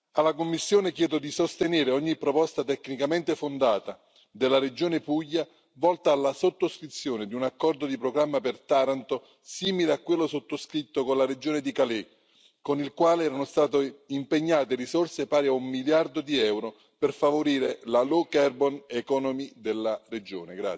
Alla Commissione chiedo di sostenere ogni proposta tecnicamente fondata della regione Puglia volta alla sottoscrizione di un accordo di programma per Taranto, simile a quello sottoscritto con la regione di Calais, con il quale erano state impegnate risorse pari a un miliardo di euro per favorire la low carbon economy della regione.